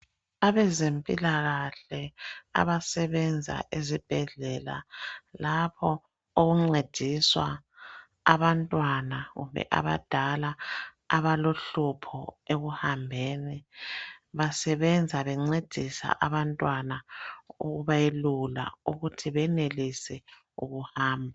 Abezempilakahle abasebenza ezibhedlela lapho okuncediswa abantwana kumbe abadala abalohlupho ekuhambeni basebenza bencedisa abantwana ukubelula ukuthi benelise ukuhamba.